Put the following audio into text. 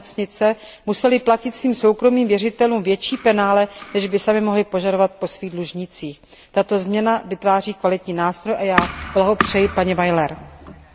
nemocnice musely platit svým soukromým věřitelům větší penále, než by samy mohly požadovat po svých dlužnících. Tato změna vytváří kvalitní nástroj a já blahopřeji paní Barbaře Weilerové.